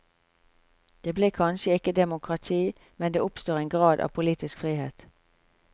Det blir kanskje ikke demokrati, men det oppstår en grad av politisk frihet.